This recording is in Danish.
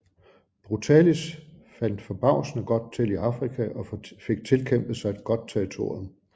Brutalis faldt forbavsende godt til i Afrika og fik tilkæmpet sig et godt territorium